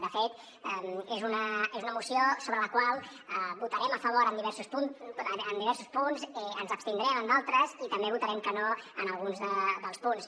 de fet és una moció sobre la qual votarem a favor en diversos punts ens abstindrem en d’altres i també votarem que no en alguns dels punts